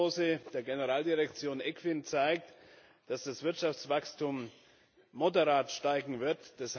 Die Herbstprognose der Generaldirektion ECFIN zeigt, dass das Wirtschaftswachstum moderat steigen wird.